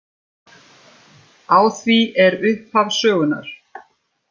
Á því er upphaf sögunnar.